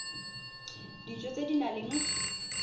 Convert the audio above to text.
dijo tse di nang le